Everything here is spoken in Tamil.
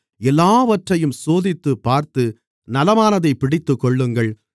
எல்லாவற்றையும் சோதித்துப்பார்த்து நலமானதைப் பிடித்துக்கொள்ளுங்கள்